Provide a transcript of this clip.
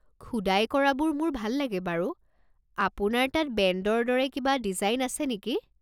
খোদাই কৰাবোৰ মোৰ ভাল লাগে বাৰু। আপোনাৰ তাত বেণ্ডৰ দৰে কিবা ডিজাইন আছে নেকি?